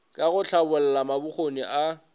ka go hlabolla mabokgoni a